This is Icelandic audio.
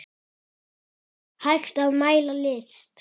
Hægt að mæla list?